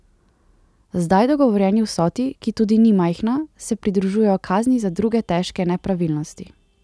Zdaj dogovorjeni vsoti, ki tudi ni majhna, se pridružujejo kazni za druge težke nepravilnosti.